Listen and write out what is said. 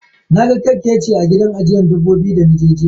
Na ga kerkeci a gida ajiyan dabbobi dana je jiya.